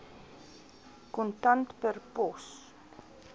kontant per pos